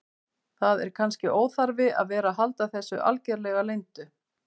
Það er kannski óþarfi að vera að halda þessu algerlega leyndu.